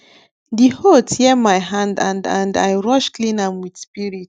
the hoe tear my hand and and i rush clean am with spirit